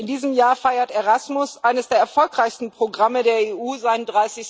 In diesem Jahr feiert Erasmus, eines der erfolgreichsten Programme der EU, seinen